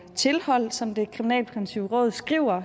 tilhold som det kriminalpræventive råd skriver